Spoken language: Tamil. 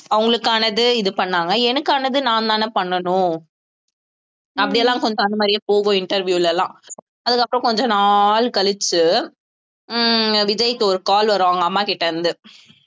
அவங்களுக்கானது இது பண்ணாங்க எனக்கானது நான்தானே பண்ணணும் அப்படி எல்லாம் கொஞ்சம் அந்த மாதிரியே போகும் interview ல எல்லாம் அதுக்கப்புறம் கொஞ்ச நாள் கழிச்சு உம் விஜய்க்கு ஒரு call வரும் அவங்க அம்மா கிட்ட இருந்து